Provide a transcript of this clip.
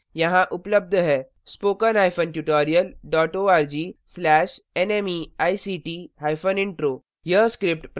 spoken hyphen tutorial dot org slash nmeict hyphen intro